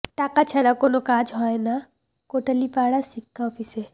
টাকা ছাড়া কোনো কাজ হয় না কোটালীপাড়া শিক্ষা অফিসে